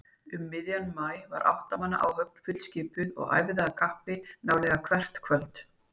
Um miðjan maí var átta manna áhöfn fullskipuð og æfði af kappi nálega hvert kvöld.